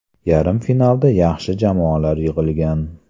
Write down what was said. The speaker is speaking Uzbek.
Yarim finalda yaxshi jamoalar yig‘ilgan.